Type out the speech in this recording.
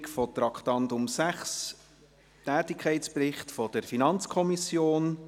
Wir kommen zur Abstimmung über das Traktandum 6, Tätigkeitsbericht der FiKo.